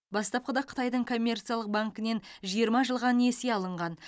бастапқыда қытайдың коммерциялық банкінен жиырма жылға несие алынған